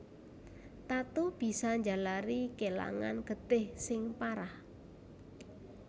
Tatu bisa njalari kélangan getih sing parah